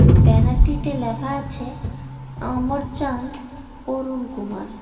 ব্যানারটিতে লেখা আছে অমর চাঁদ অরুন কুমার।